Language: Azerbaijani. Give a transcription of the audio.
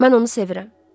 Mən onu sevirəm.